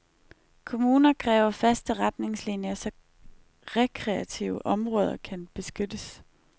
Kommuner kræver faste retningslinier så rekreative områder kan beskyttes.